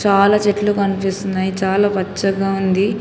పాల చెట్లు కనిపిస్తున్నాయ్ చాలా పచ్చగా ఉంది.